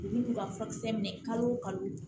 Olu b'u ka furakisɛ minɛ kalo o kalo